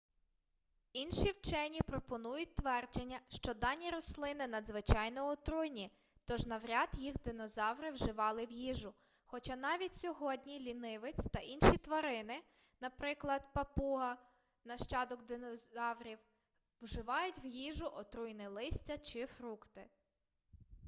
інші вчені пропонують твердження що дані рослини надзвичайно отруйні тож навряд їх динозаври вживали в їжу хоча навіть сьогодні лінивець та інші тварини наприклад папуга нащадок динозаврів вживають в їжу отруйне листя чи фрукти